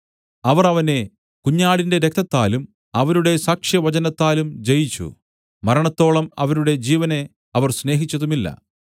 അവർ അവനെ കുഞ്ഞാടിന്റെ രക്തത്താലും അവരുടെ സാക്ഷ്യവചനത്താലും ജയിച്ചു മരണത്തോളം അവരുടെ ജീവനെ അവർ സ്നേഹിച്ചതുമില്ല